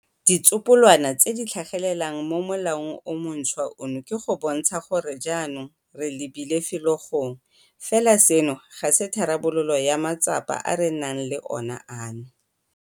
Ditsopolwana tse di tlhagelelang mo molaong o montšhwa ono ke go bontsha gore jaanong re lebile felo gongwe. Fela seno ga se tharabololo ya matsapa a re nang le ona ano.